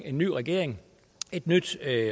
en ny regering et nyt